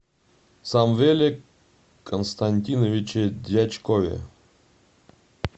самвеле константиновиче дьячкове